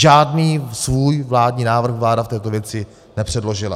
Žádný svůj vládní návrh vláda v této věci nepředložila.